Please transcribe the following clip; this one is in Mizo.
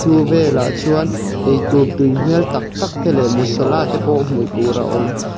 vel ah chuan eitur tui hmel tak tak te leh masala tepaw hmuh tur awm.